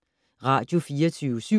Radio24syv